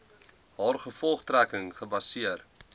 haar gevolgtrekking gebaseer